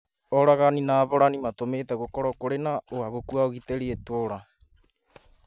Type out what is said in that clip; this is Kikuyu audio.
Oragani na aborani matũmĩte gũkorwo kũrĩ na ũhagũku wa ũgitĩri itũra